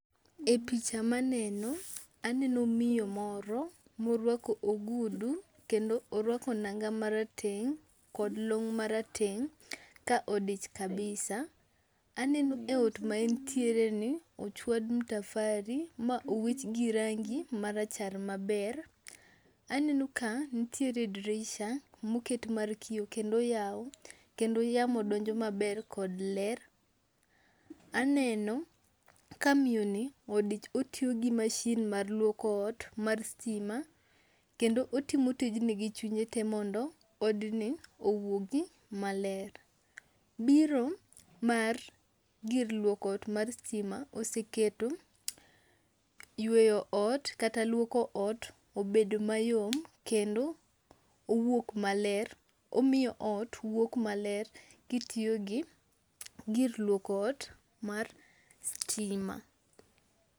E picha maneno, aneno miyo moro morwako ogudu kendo orwako nanga marateng' kod long marateng' ka odich kabisa. Aneno e ot ma entiereni, ochwad mtafari ma owich gi rangi marachar maber. Aneno ka nitiere drisha moket mar kiyo kendo oyaw kendo yamo donjo maber kod ler. Aneno ka miyoni odich otiyo gi mashin mar lwoko ot mar stima, kendo otimo tijni gi chunye te mondo odni owuogi maler. Biro mar gir lwoko ot mar stima oseketo yweyo ot kata lwoko ot obedo mayom kendo owuok maler, omiyo ot wuok maler kitiyo gi gir lwoko ot mar stima.